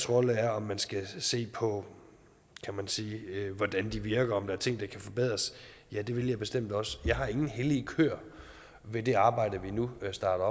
rolle er om man skal se på hvordan de virker og om der er ting der kan forbedres ja det vil jeg bestemt også jeg har ingen hellige køer i det arbejde vi nu starter